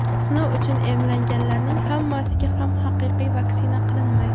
sinov uchun emlanganlarning hammasiga ham haqiqiy vaksina qilinmaydi.